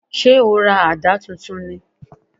Ṣé o ra àdá tuntun ni?